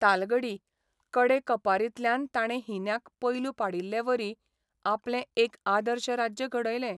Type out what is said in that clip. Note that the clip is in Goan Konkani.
तालगडी कडेकपारींतल्यान ताणें हिन्यांक पैलू पाडिल्लेवरी आपलें एक आदर्श राज्य घडयलें.